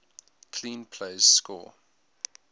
clean plays score